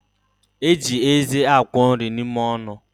Eji eze akwọ nri n'ime ọnụ